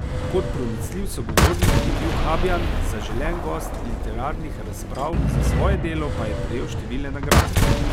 Kot pronicljiv sogovornik je bil Habjan zaželen gost literarnih razprav, za svoje delo pa je prejel številne nagrade.